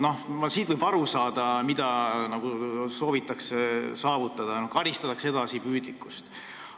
Võib aru saada, mida soovitakse saavutada: karistatakse edasipüüdlikkust.